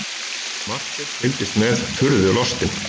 Marteinn fylgdist með furðu lostinn.